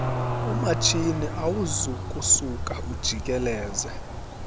umatshini awuzokusuka ujikeleze